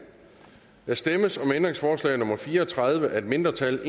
der stemmes om ændringsforslag nummer fire og tredive af et mindretal